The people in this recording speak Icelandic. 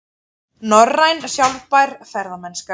Norræn sjálfbær ferðamennska